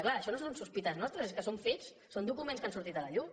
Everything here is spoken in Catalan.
clar això no són sospites nostres és que són fets són documents que han sortit a la llum